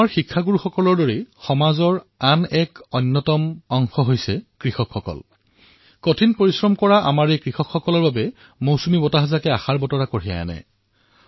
মোৰ মৰমৰ দেশবাসীসকল কঠিন পৰিশ্ৰমী কৃষকসকলৰ বাবে বাৰিষাই নতুন আশাৰ কিৰণ লৈ আনিছে